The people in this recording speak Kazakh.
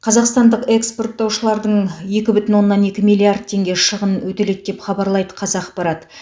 қазақстандық экспорттаушылардың екі бүтін оннан екі миллиард теңге шығын өтеледі деп хабарлайды қазақпарат